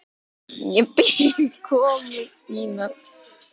Ég bíð komu þinnar.